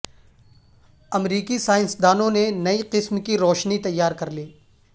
امریکی سائنسدانوں نے نئی قسم کی روشنی تیار کرلی